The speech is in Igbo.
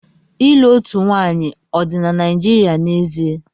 Ịlụ otu nwanyị ọ dị na Naịjirịa n'ezie?